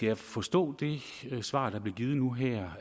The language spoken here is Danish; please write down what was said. jeg forstå det svar der blev givet nu her